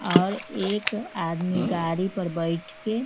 और एक आदमी गाड़ी पर बैठ के--